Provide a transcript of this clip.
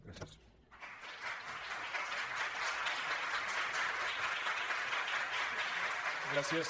gràcies